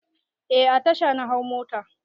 Eh a tasha na hau mota.